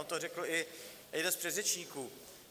On to řekl i jeden z předřečníků.